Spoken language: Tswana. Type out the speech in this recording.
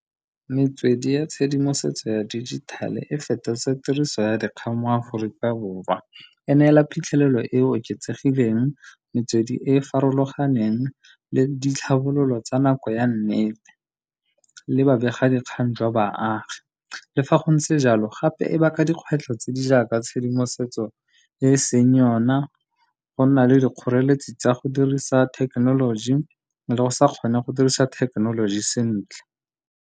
Metswedi ya tshedimosetso ya dijithale e fetotse tiriso ya dikgang mo Aforika Borwa. E neela phitlhelelo e e oketsegileng, metswedi e e farologaneng, le ditlhabololo tsa nako ya nnete le babegadikgang jwa baagi. Le fa go ntse jalo, gape e baka dikgwetlho tse di jaaka tshedimosetso e e seng yone, go nna le dikgoreletsi tsa go dirisa thekenoloji, le go sa kgone go dirisa thekenoloji sentle.